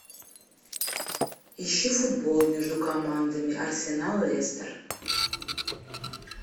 ищи футбол между командами арсенал лестер